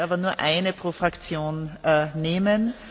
Ich werde aber nur eine pro Fraktion nehmen.